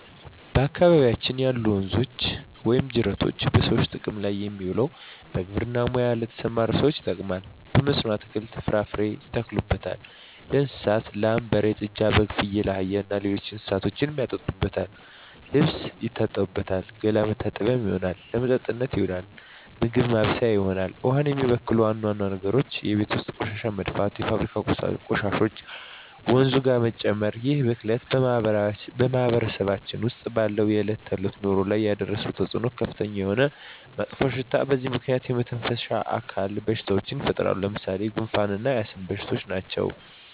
በአካባቢያችን ያሉ ወንዞች ወይም ጅረቶች በሰዎች ጥቅም ላይ የሚውለው በግብርና ሙያ ለተሠማሩ ሠዎች ይጠቅማል። በመስኖ አትክልትን፣ ፍራፍሬ ያተክሉበታል። ለእንስሳት ላም፣ በሬ፣ ጥጃ፣ በግ፣ ፍየል፣ አህያ እና ሌሎች እንስሶችን ያጠጡበታል፣ ልብስ ይታጠብበታል፣ ገላ መታጠቢያነት ይሆናል። ለመጠጥነት ይውላል፣ ምግብ ማብሠያ ይሆናል። ውሃውን የሚበክሉ ዋና ዋና ነገሮች የቤት ውስጥ ቆሻሻ መድፋት፣ የፋብሪካ ቆሻሾችን ወንዙ ጋር መጨመር ይህ ብክለት በማህበረሰባችን ውስጥ ባለው የዕለት ተዕለት ኑሮ ላይ ያደረሰው ተፅዕኖ ከፍተኛ የሆነ መጥፎሽታ በዚህ ምክንያት የመተነፈሻ አካል በሽታዎች ይፈጠራሉ። ለምሣሌ፦ ጉንፋ እና የአስም በሽታ ናቸው።